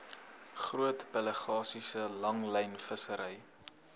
groot pelagiese langlynvissery